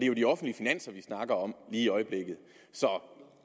jo de offentlige finanser vi snakker om lige i øjeblikket så